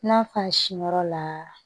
N'a fa siyɔrɔ la